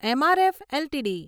MRF LTD